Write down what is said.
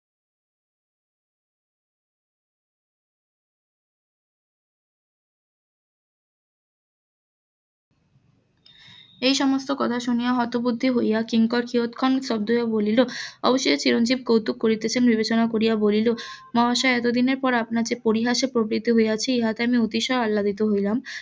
এই সমস্ত কথা শুনিয়ে হতবুদ্ধি হইয়া কিংকর কিয়ৎক্ষণ স্তব্ধ হইয়া বলিল অবশেষে চিরঞ্জিব কৌতুক করিতেছেন বিবেচনা করিয়া বলিল মহাশয় এতদিনের পর যে আপনার যে পরিহাসের প্রবৃদ্ধি হইয়াছি ইহাতে আমি অতিশয় আল্লাদিত হইলাম